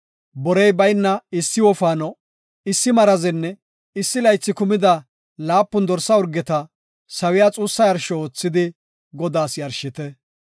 Borey bayna issi wofaano, issi marazenne issi laythi kumida laapun dorsa urgeta sawiya xuussa yarsho oothidi Godaas yarshite.